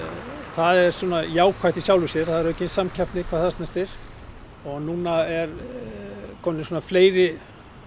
það er svona jákvætt í sjálfu sér það er samkeppni hvað það snertir núna eru komnir fleiri